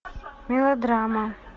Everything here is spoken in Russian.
мелодрама